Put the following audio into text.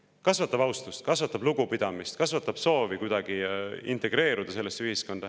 Kas see kasvatab austust, kasvatab lugupidamist, kasvatab soovi kuidagi sellesse ühiskonda integreeruda?